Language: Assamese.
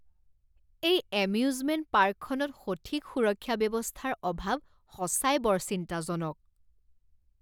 এই এম্যুজমেণ্ট পাৰ্কখনত সঠিক সুৰক্ষা ব্যৱস্থাৰ অভাৱ সঁচাই বৰ চিন্তাজনক।